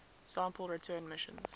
sample return missions